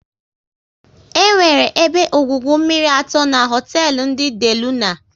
E nwere ebe ọgwụgwụ mmiri atọ n'hotelu ndị De Luna